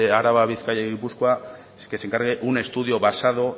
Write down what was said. araba bizkaia y gipuzkoa que se encargue un estudio basado